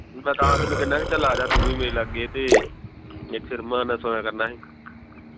ਮੈਂ ਤਾਂ ਤੈਨੂੰ ਕਹਿਣਾ ਬਈ ਚੱਲ ਆਜਾ ਤੂੰ ਵੀ ਮੇਰੇ ਲਾਗੇ ਤੇ ਇਥੇ ਰਮਾਨ ਨਾਲ ਸੋਇਆ ਕਰਨਾ ਹੀ